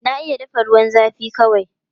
Na iya dafa ruwan zafi kawai.